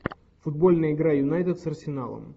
футбольная игра юнайтед с арсеналом